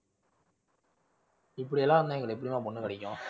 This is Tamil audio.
இப்படியெல்லாம் இருந்தா எங்களுக்கு எப்படிமா பொண்ணு கிடைக்கும்?